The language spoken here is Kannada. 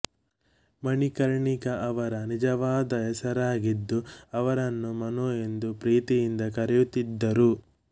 ಮಣಿಕರ್ಣಿಕ ಅವರ ನಿಜವಾದ ಹೆಸರಾಗಿದ್ದು ಅವರನ್ನು ಮನು ಎಂದು ಪ್ರೀತಿಯಿಂದ ಕರೆಯುತ್ತಿದ್ದರು